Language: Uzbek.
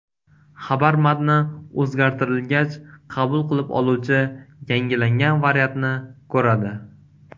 Xabar matni o‘zgartirilgach, qabul qilib oluvchi yangilangan variantni ko‘radi.